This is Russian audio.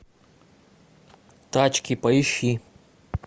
тачки поищи